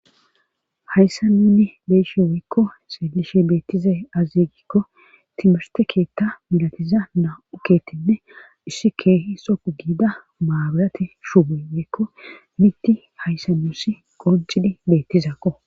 hayssannunni beeshe weykko seelishe beettize azigikko timerte keetta milatiza na7u kettinne issi keehi sou giida maabarati shuuboy weykko mitti hayssanusi qoncidhi beettizakko